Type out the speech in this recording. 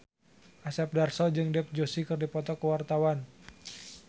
Asep Darso jeung Dev Joshi keur dipoto ku wartawan